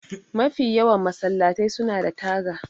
Mafi yawan masallatai suna da taga